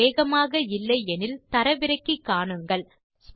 இணைப்பு வேகமாக இல்லை எனில் தரவிறக்கி காணுங்கள்